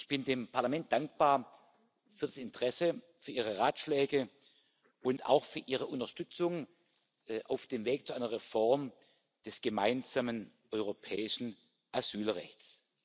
Ich bin dem Parlament dankbar für das Interesse, für Ihre Ratschläge und auch für Ihre Unterstützung auf dem Weg zu einer Reform des Gemeinsamen Europäischen Asylrechts.